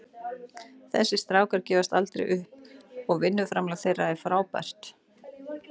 Þessir strákar gefast aldrei upp og vinnuframlag þeirra er frábært.